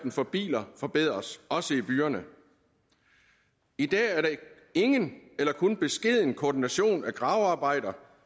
for biler forbedres også i byerne i dag er der ingen eller kun beskeden koordination af gravearbejder